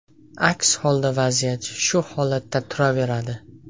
Aks holda vaziyat shu holatda turaveradi.